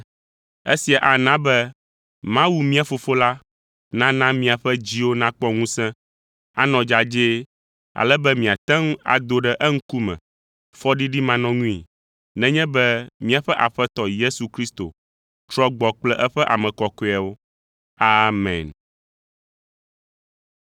Esia ana be Mawu mía Fofo la nana be miaƒe dziwo nakpɔ ŋusẽ, anɔ dzadzɛ, ale be miate ŋu ado ɖe eŋkume fɔɖiɖimanɔŋui nenye be míaƒe Aƒetɔ Yesu Kristo trɔ gbɔ kple eƒe ame kɔkɔewo. Amen.